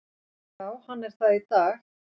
Já hann er það í dag!